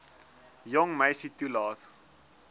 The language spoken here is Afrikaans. jong meisie toelaat